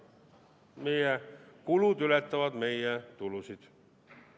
Meie kulud ületavad meie tulusid.